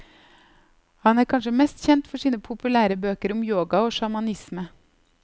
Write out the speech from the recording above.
Han er kanskje mest kjent for sine populære bøker om yoga og sjamanisme.